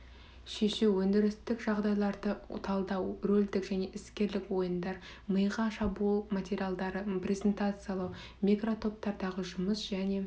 шешу өндірістік жағдайларды талдау рөлдік және іскерлік ойындар миға шабуыл материалдарды презентациялау микротоптардағы жұмыс және